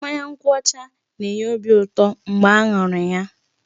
Mmanya nkwụ ọcha na-enye obi ụtọ mgbe a ṅụrụ ya.